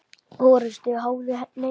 orrustu háði neina.